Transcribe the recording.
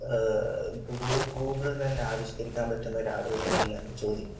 Google തന്നെ ആവിഷ്ക്കരിക്കാൻ പറ്റുന്ന ഒരാൾ വരുന്നില്ല എന്ന ചോദ്യ,